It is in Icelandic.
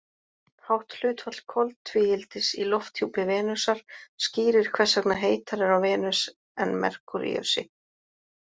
Hátt hlutfall koltvíildis í lofthjúpi Venusar skýrir hvers vegna heitara er á Venus en Merkúríusi.